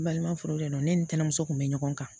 Balima furu de don ne ni tamaso kun be ɲɔgɔn kan